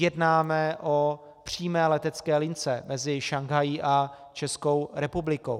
Jednáme o přímé letecké lince mezi Šanghají a Českou republikou.